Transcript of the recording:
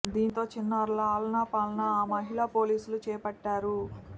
దీంతో చిన్నారుల ఆలనా పాలనా ఆ మహిళా పోలీసులు చేపట్టారు